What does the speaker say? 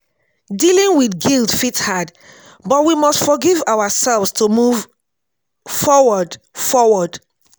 dealing with guilt fit hard but we must forgive ourselves to move forward. forward.